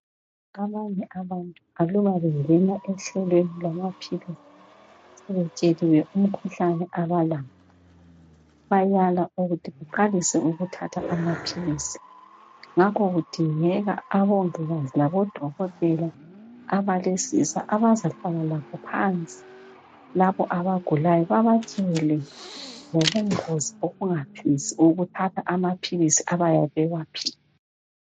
Abanye abantu aluba bangena ehlelweni lwamaphilisi betsheliwe umkhuhlane abalawo bayala ukuthi uqalise ukuthatha amaphilisi ngakho kudingeka abongikazi labodokotela abalesisa abazahlala labo phansi labo abagulayo babatshele ngobungozi bokungaphikisi ukuthatha amaphilisi abayabe bewaphiwe.